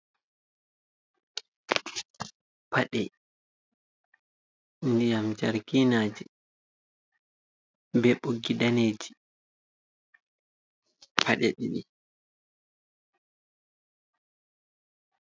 Paɗe ndiyam jarginaje be ɓoggiji daneji paɗe ɗiɗi.